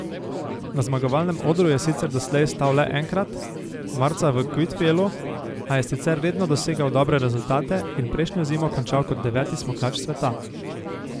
Na zmagovalnem odru je sicer doslej stal le enkrat, marca v Kvitfjelu, a je sicer redno dosegal dobre rezultate in prejšnjo zimo končal kot deveti smukač sveta.